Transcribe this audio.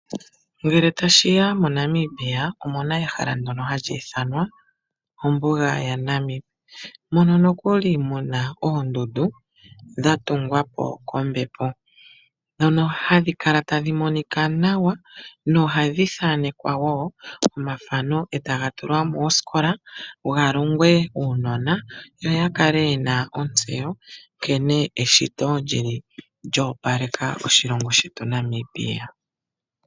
Ngele tashiya moNamibia oku mona ehala ndono hali ithanwa ombuga ya Namibia mono nokuli muna oondundu dha tungwa po kombepo dhono hadhi kala tadhi monika nawa nohadhi thaanekwa woo omathano etaga tulwa mooskola ga longwe uunona yo ya kale yena ontseyo nkene eshito lili lyoopaleka oshilongo shetu Namibia.